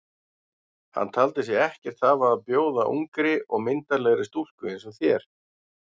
Hann taldi sig ekkert hafa að bjóða ungri og myndarlegri stúlku eins og þér.